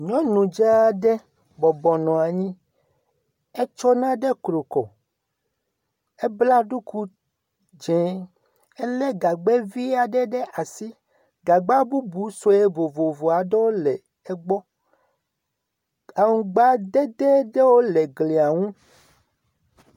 Nyɔnu dzaa aɖe bɔbɔ nɔ anyi. Etsɔ nane kru kɔ. Ebla ɖuku dzẽ. Elé gabgɛ vi aɖe ɖe asi. Gagba bubu sue vovovo aɖewo le egbɔ. Aŋugbadede ɖewo le glia ŋu.